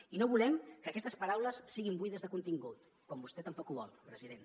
i no volem que aquestes paraules siguin buides de contingut com vostè tampoc ho vol president